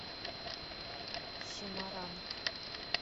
семаранг